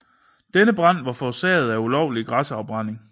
Denne brand var forårsaget af ulovlig græsafbrænding